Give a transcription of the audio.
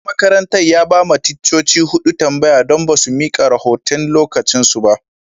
Shugaban makarantan ya ba ma ticcoci hudu tambaya don ba su mika rahotan'lokacin su ba.